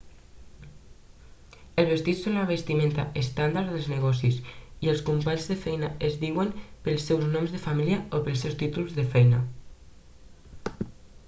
els vestits són la vestimenta estàndard dels negocis i els companys de feina es diuen pels seus noms de família o pels seus títols de feina